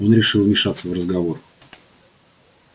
он решил вмешаться в разговор